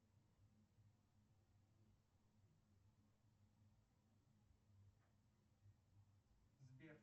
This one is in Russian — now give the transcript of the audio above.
сбер